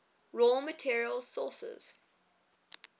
raw materials sources